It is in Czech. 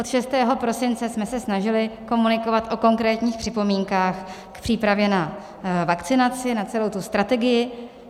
Od 6. prosince jsme se snažili komunikovat o konkrétních připomínkách v přípravě na vakcinaci, na celou tu strategii.